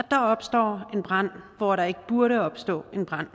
der opstår en brand hvor der ikke burde opstå en brand